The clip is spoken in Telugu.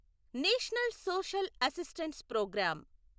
national social assistance programme